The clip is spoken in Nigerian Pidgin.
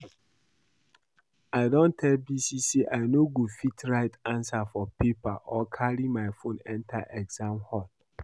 I don tell Bisi say I no go fit write answer for paper or carry my phone enter exam hall